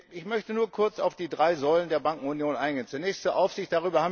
Ich möchte nur kurz auf die drei Säulen der Bankenunion eingehen. Zunächst zur Aufsicht.